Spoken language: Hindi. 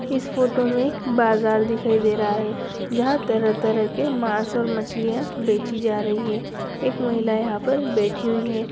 इस फ़ोटो में एक बाजार दिखाई दे रहा है जहाँ तरह-तरह के माँस और मछलियाँ बेची जा रही। एक महिला यहाँ पर बैठी हुई है।